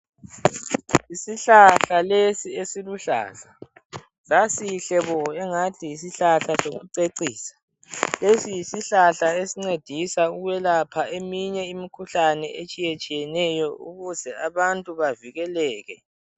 Isihlahla lesi esiluhlaza, sasihle bo engani yisihlahla sokucecisa. Lesi yisihlahla esincedisa ukwelapha eminye imikhuhlane etshiyetshiyeneyo ukuze abantu bavikeleke.